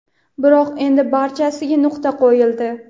biroq endi barchasiga nuqta qo‘yildi.